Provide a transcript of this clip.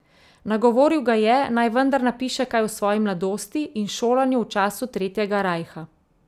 Nagovoril ga je, naj vendar napiše kaj o svoji mladosti in šolanju v času Tretjega rajha.